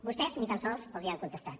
vostès ni tan sols els han contestat